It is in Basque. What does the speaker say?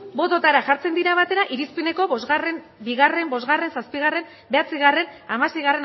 bototara jartzen dira batera irizpeneko bi bost zazpi bederatzi hamasei